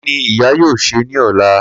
Kini iya yoo ṣe ni ọla?